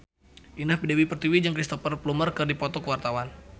Indah Dewi Pertiwi jeung Cristhoper Plumer keur dipoto ku wartawan